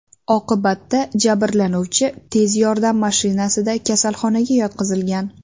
Oqibatda jabrlanuvchi tez yordam mashinasida kasalxonaga yotqizilgan.